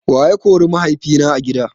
Wa ya kori mahaifina a gida?